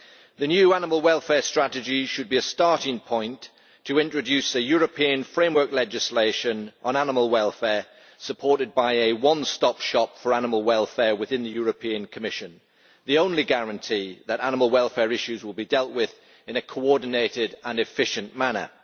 The new animal welfare strategy should be a starting point to introduce European framework legislation on animal welfare, supported by a one stop shop for animal welfare within the Commission the only guarantee that animal welfare issues will be dealt with in a coordinated and efficient manner.